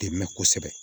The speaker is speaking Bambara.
Dɛmɛ kosɛbɛ